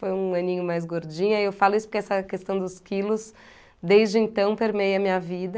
Foi um aninho mais gordinho, aí eu falo isso porque essa questão dos quilos, desde então, permeia a minha vida.